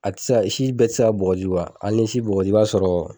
A tɛ se ka si bɛɛ tɛ se ka bɔgɔti hali n'i ye si bɔgɔti i b'a sɔrɔ